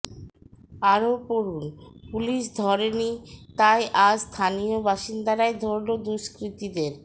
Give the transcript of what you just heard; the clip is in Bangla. আরও পড়ুন পুলিস ধরেনি তাই আজ স্থানীয় বাসিন্দারাই ধরল দুষ্কৃতীদের